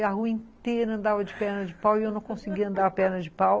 E a rua inteira andava de perna de pau e eu não conseguia andar a perna de pau.